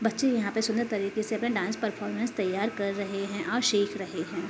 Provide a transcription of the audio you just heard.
बच्चे यहाँ पे सुंदर तरीके से अपना डान्स परफॉरमेंस तैयार कर रहे हैं और सीख रहे हैं।